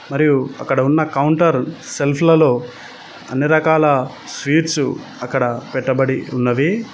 మరియు అక్కడ ఉన్న కౌంటర్ సెల్ఫ్ లలో అన్ని రకాల స్వీట్స్ అక్కడ పెట్టబడి ఉన్నవి